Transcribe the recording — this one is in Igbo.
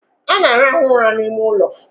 Ana alahu ula n' ime ụlọ